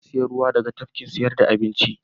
Na sayi ruwa daga kantin sayar da abinci.